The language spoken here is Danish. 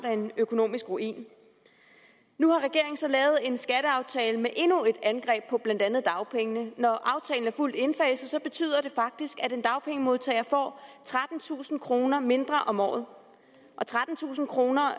en økonomisk ruin nu har regeringen så lavet en skatteaftale med endnu et angreb på blandt andet dagpengene når aftalen er fuldt indfaset betyder det faktisk at en dagpengemodtager får trettentusind kroner mindre om året trettentusind kroner